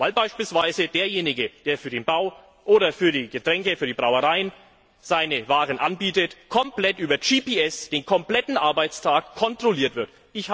Weil beispielsweise derjenige, der für den Bau oder für die Getränke für die Brauereien seine Waren anbietet, komplett über GPS den kompletten Arbeitstag kontrolliert wird.